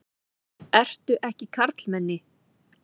Ertu ekki karlmenni?